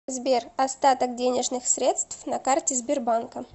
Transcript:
сбер остаток денежных средств на карте сбербанка